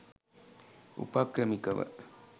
උපක්‍රමිකව